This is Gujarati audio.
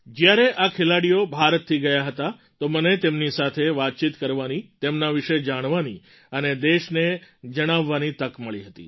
જ્યારે આ ખેલાડીઓ ભારતથી ગયા હતા તો મને તેમની સાથે વાતચીત કરવાની તેમના વિશે જાણવાની અને દેશને જણાવવાની તક મળી હતી